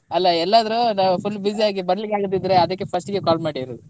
ಅಲ್ಲ ಎಲ್ಲಾದ್ರೂ ಒಂದ್ full busy ಆಗಿ ಬರ್ಲಿಕ್ಕೆ ಆಗದಿದ್ರೆ ಅದಕ್ಕೆ first ಗೆ call ಮಾಡಿರುದು.